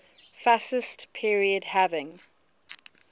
fascist period having